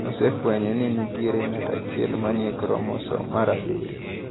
Osefwenyo ni nitie ng’at achiel ma ni e kromosom mar 7.